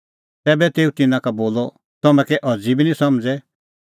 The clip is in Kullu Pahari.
तैबै तेऊ तिन्नां का बोलअ तम्हैं कै अज़ी बी निं समझ़ै